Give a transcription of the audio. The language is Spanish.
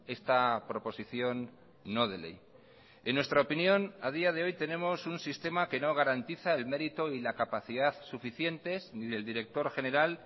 esta proposición no de ley en nuestra opinión a día de hoy tenemos un sistema que no garantiza el mérito y la capacidad suficientes ni del director general